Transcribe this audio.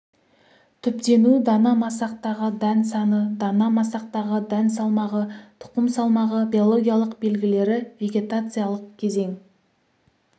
түптену дана масақтағы дән саны дана масақтағы дән салмағы тұқым салмағы биологиялық белгілері вегетациялық кезең